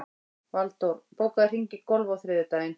Valdór, bókaðu hring í golf á þriðjudaginn.